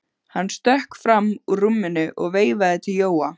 Hann stökk fram úr rúminu og veifaði til Jóa.